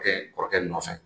kɔrɔkɛ nɔfɛ.